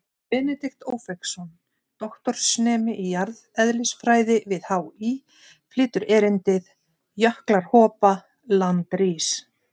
Benedikt Ófeigsson, doktorsnemi í jarðeðlisfræði við HÍ, flytur erindið: Jöklar hopa, land rís.